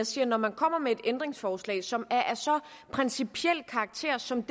siger at når man kommer med et ændringsforslag som er af så principiel karakter som